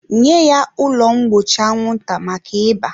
nye ya ụlọ mgbochi anwụnta maka ịba!.